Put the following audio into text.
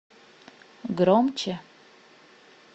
громче